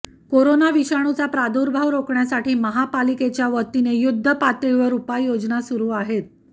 corona विषाणूचा प्रादुर्भाव रोखण्यासाठी महापालिकेच्यावतीने युद्धपातळीवर उपाय योजना सुरु आहेत